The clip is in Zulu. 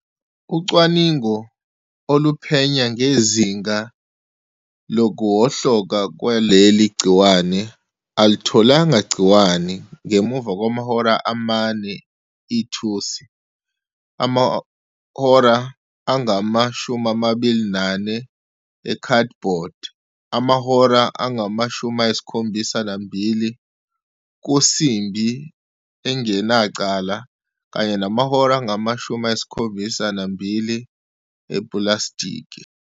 Ucwaningo oluphenya ngezinga lokuwohloka kwaleli gciwane alutholanga gciwane ngemuva kwamahora amane ithusi, amahora angama-24 ekhadibhodi, amahora angama-72 kusimbi engenacala, kanye namahora angama-72 epulasitiki.